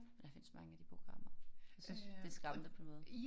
Men der findes mange af de programmer jeg synes det skræmmende på en måde